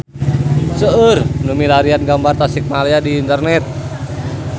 Seueur nu milarian gambar Tasikmalaya di internet